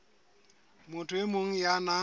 motho e mong ya nang